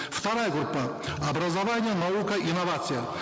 вторая группа образование наука инновация